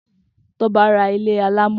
Toba rà ilé àlámọ